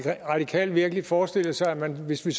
radikale virkelig forestillet sig at hvis vi